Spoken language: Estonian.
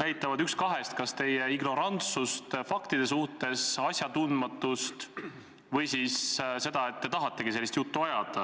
näitavad ühte kahest: kas teie ignorantsust faktide suhtes, asjatundmatust, või seda, et te tahategi sellist juttu ajada.